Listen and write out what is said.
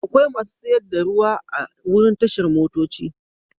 Akwai masu siyar da ruwa a wurin tashar motoci.